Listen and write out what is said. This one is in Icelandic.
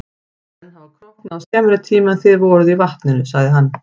Menn hafa króknað á skemmri tíma en þið voruð í vatninu, sagði hann.